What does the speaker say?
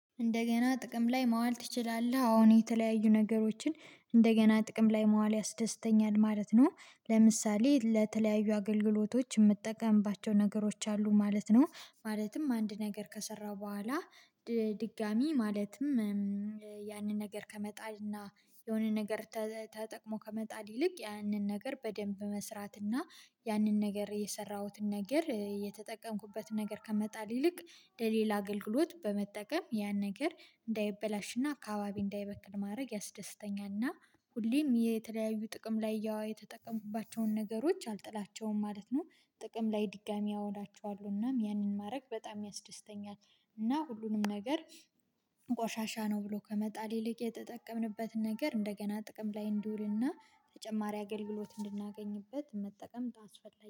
እንደገና ጥቅም ላይ ማዋል ትችላለህ አዎን የተለያዩ ነገሮችን እንደገና ጥቅም ላይ ማዋል ያስደስተኛል ማለት ነው። ለምሳሌ ለተለያዩ አገልግሎቶች የምትጠቀምባቸው ነገሮች አሉ ማለት ነው። ማለትም አንድ ነገር ከሰራሁ በኋላ ድጋሚ ማለትም ያንን ነገር ከመጣልና የሆነ ነገር ተጠቅሞ ከመጣል ይልቅ ያንን ነገር በደንብ መስራት እና ያንን ነገር የሰራሁትን ነገር እየተጠቀምኩበትን ነገር ከመጣል ይልቅ ለሌላ አገልግሎት በመጠቀም ያን ነገር እንዳይበላሽና አካባቢ እንዳይበክል ማድረግ ያስደስተኛልና። ሁሌም የተለያዩ ጥቅም ላይ ያው የተጠቀሙባቸውን ነገሮች አልጥላቸውም ማለት ነው። ጥቅም ላይ ድጋሚ አውላቸዋለሁናም ያንን ማድረግ በጣም ያስደስተኛል። እና ሁሉንም ነገር ቆሻሻ ነው ብሎ ከመጣል ይልቅ የተጠቀምንበትን ነገር እንደገና ጥቅም ላይ እንዲውልና ተጨማሪ አገልግሎት እንድናገኝበት መጠቀም ታስፈልጋል